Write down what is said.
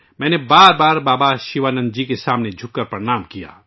میں نے بھی بابا شیوانند جی بار بار جھک کر پرنام کیا